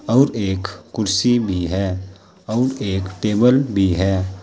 और एक कुर्सी भी है और एक टेबल भी है।